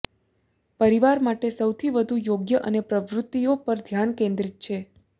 પરિવાર માટે સૌથી વધુ યોગ્ય અન્ય પ્રવૃત્તિઓ પર ધ્યાન કેન્દ્રિત છે